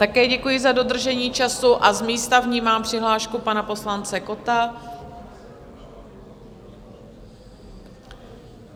Také děkuji za dodržení času a z místa vnímám přihlášku pana poslance Kotta.